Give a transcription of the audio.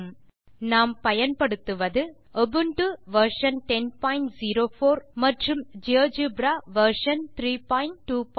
இந்த டுடோரியலில் நாம் பயன்படுத்துவது உபுண்டு வெர்ஷன் 1004 எல்டிஎஸ் மற்றும் ஜியோஜெப்ரா வெர்ஷன் 3240